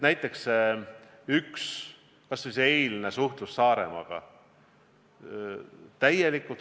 Näiteks kas või see eilne suhtlus Saaremaaga.